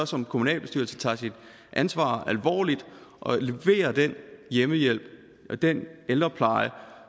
som kommunalbestyrelse tager sit ansvar alvorligt og leverer den hjemmehjælp den ældrepleje